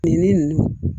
Nin ne ninnu